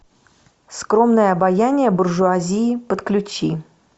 скромное обаяние буржуазии подключи